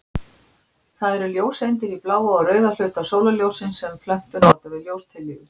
Það eru ljóseindir í bláa og rauða hluta sólarljóssins sem plöntur nota við ljóstillífun.